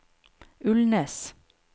Ulnes